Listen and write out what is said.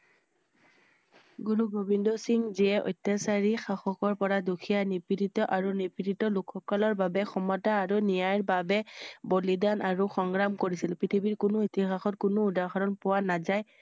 গুৰু গোবিন্দা সিং যে অত্যাচাৰী শাসকৰ পৰা দুখীয়া নিবৃঢ়িত আৰু নিবৃৰিত লোক সকলৰ বাবে ক্ষমতা আৰু নিয়ায়ৰ বাবে বলিদান আৰু সংগ্ৰাম কৰিছিল ।পৃথিৱীৰ কোনো ইতিহাসত কোনো উদাহৰণ পোৱা নাযায় ।